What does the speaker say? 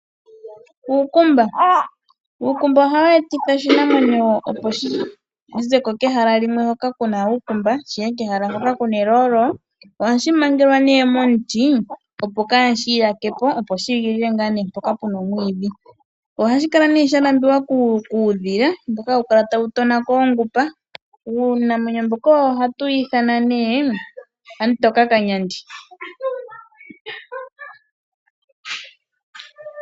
Uukumba! Uukumba oha wu etitha oshinamwenyo opo shi zeko kehala limwe hoka kuna uukumba shiye kehala limwe hoka kuna eloolo. Ohashi mangelwa nee momuti. Opo kaashi yakepo shiye ngaa ne mpoka puna omwiidhi. Ohashi kala nee sha lambiwa kuudhila mboka hawu kala tawu tonako oongupa. Uunamwenyo mboka ohatu wu ithana nee aamutoka kanyandi.